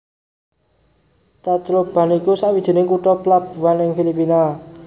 Tacloban iku sawijining kutha plabuan ing Filipina